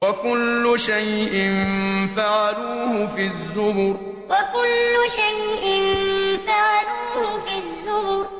وَكُلُّ شَيْءٍ فَعَلُوهُ فِي الزُّبُرِ وَكُلُّ شَيْءٍ فَعَلُوهُ فِي الزُّبُرِ